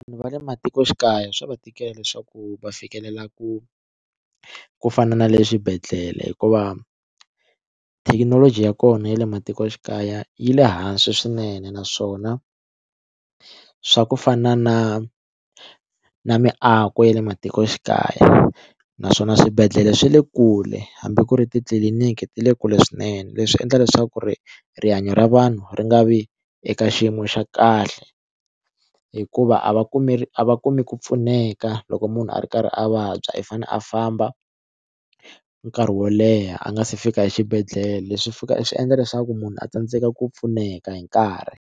Va le matikoxikaya swa va tikela leswaku va fikelela ku ku fana na le swibedhlele hikuva thekinoloji ya kona ya le matikoxikaya yi le hansi swinene naswona swa ku fana na na miako ya le matikoxikaya naswona swibedhlele swi le kule hambi ku ri titliliniki ti le kule swinene leswi endla leswaku ri rihanyo ra vanhu ri nga vi eka xiyimo xa kahle hikuva a va kumi a va kumi ku pfuneka loko munhu a ri karhi a vabya i fanele a famba nkarhi wo leha a nga se fika xibedhlele swi fika swi endla leswaku munhu a tsandzeka ku pfuneka hi nkarhi.